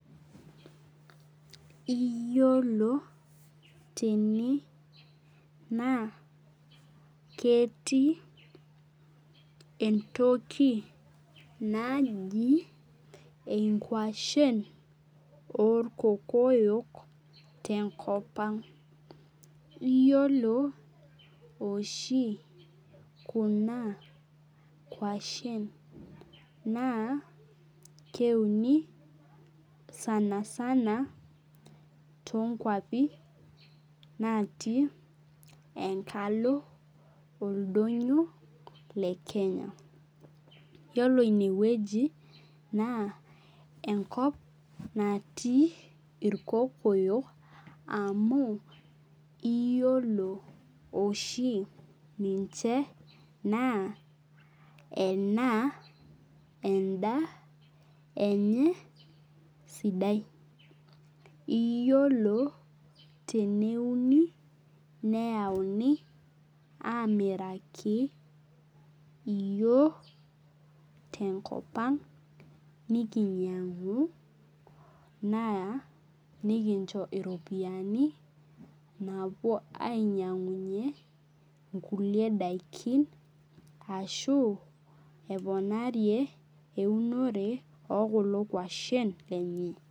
Yiolo tene, naa ketii entoki naji inkwashen orkokoyo tenkop ang. Iyiolo oshi kuna kwashen, naa keuni sanasana, tonkwapi natii enkalo oldonyo le Kenya. Yiolo inewueji, naa enkop natii irkokoyo amu iyiolo oshi ninche naa ena endaa enye sidai. Iyiolo teneuni, neyauni amiraki iyiok tenkop ang, nikinyang'u naa nikincho iropiyiani naapuo ainyang'unye inkulie daikin, ashu eponarie eunore okulo kwashen lenye.